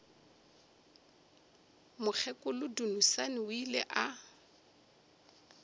mokgekolo dunusani o ile a